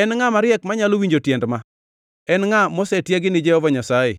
En ngʼa mariek manyalo winjo tiend ma? En ngʼa mosetiegi gi Jehova Nyasaye